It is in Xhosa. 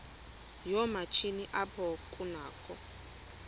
yoomatshini apho kunakho